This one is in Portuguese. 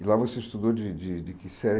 E lá você estudou de de de que série